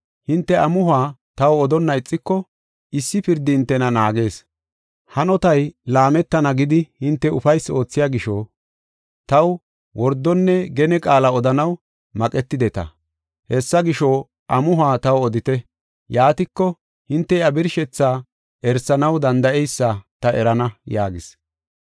Hinte amuhuwa taw odonna ixiko, issi pirdi hintena naagees. Hanotay laametana gidi hinte ufaysi oothiya gisho taw wordonne gene qaala odanaw maqetideta. Hessa gisho, amuhuwa taw odite. Yaatiko, hinte iya birshethaa erisanaw danda7eysa ta erana” yaagis.